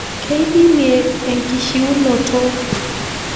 Keidimie enkishiunoto.